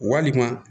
Walima